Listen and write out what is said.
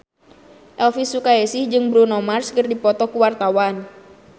Elvi Sukaesih jeung Bruno Mars keur dipoto ku wartawan